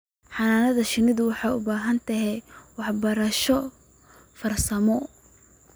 Xannaanada shinnidu waxay u baahan tahay waxbarasho farsamo.